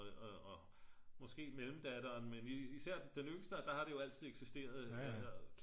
og måske mellemdatteren men især den yngste der har det jo altid eksisteret